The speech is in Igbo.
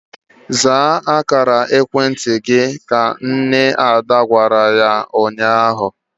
Zaa oku ekwentị gị! Ka nne Ada gwara ya ụnyaahụ.